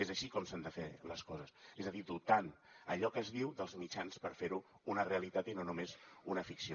és així com s’han de fer les coses és a dir dotant allò que es diu dels mitjans per ferho una realitat i no només una ficció